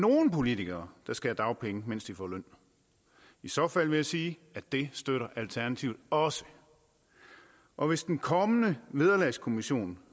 nogen politikere der skal have dagpenge mens de får løn i så fald vil jeg sige at det støtter alternativet også og hvis den kommende vederlagskommission